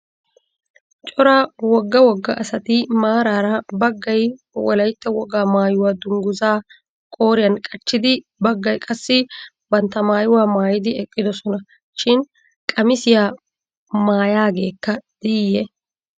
Cora wogga wogga asati maaraara baggay Wolaytta wogaa maayuwa dunguzaa qooriyan qachchidi baggay qassi bantta maayuwa maayidi eqqidosona. Shin qamisiya maayaageekka diiyye?